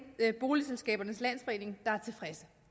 boligselskabernes landsforening der er tilfreds